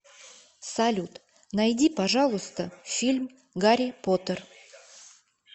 салют найди пожалуйста фильм гарри потер